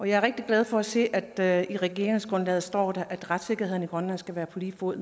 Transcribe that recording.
jeg er rigtig glad for at se at der i regeringsgrundlaget står at retssikkerheden i grønland skal være på lige fod